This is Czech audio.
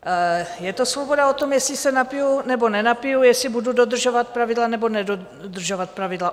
Je to svoboda o tom, jestli se napiju, nebo nenapiju, jestli budu dodržovat pravidla, nebo nedodržovat pravidla.